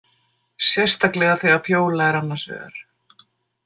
Sérstaklega þegar Fjóla er annars vegar.